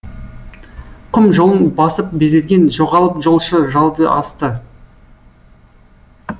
құм жолын басып безерген жоғалып жолшы жалды асты